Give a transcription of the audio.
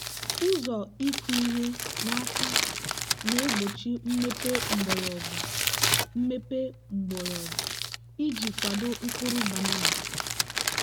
ụzọ ịkụ ihe n'aka na-egbochi mmepe mgbọrọgwụ mmepe mgbọrọgwụ iji kwado mkpụrụ banana.